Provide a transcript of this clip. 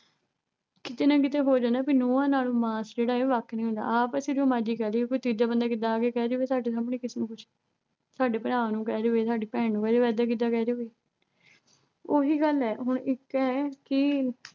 ਕਿਤੇ ਨਾ ਕਿਤੇ ਹੋ ਜਾਂਦੈ ਵੀ ਨੁੰਹਾਂ ਨਾਲੋਂ ਮਾਸ ਜਿਹੜਾ ਏ ਵੱਖ ਨਹੀਂ ਹੁੰਦਾ ਆਪ ਅਸੀਂ ਜੋ ਮਰਜੀ ਕਹਿ ਦੀਏ ਕੋਈ ਤੀਜਾ ਬੰਦਾ ਕਿੱਦਾਂ ਆ ਕੇ ਕਹਿ ਜਵੇ ਸਾਡੇ ਸਾਹਮਣੇ ਕਿਸੇ ਨੂੰ ਕੁੱਝ ਸਾਡੇ ਭਰਾ ਨੂੰ ਕਹਿ ਜਵੇ ਸਾਡੀ ਭੈਣ ਨੂੰ ਕਹਿ ਜਵੇ ਇੱਦਾਂ-ਕਿੱਦਾਂ ਕਹਿ ਜਵੇ। ਓਹੀ ਗੱਲ ਐ ਹੁਣ ਇੱਕ ਐ ਕਿ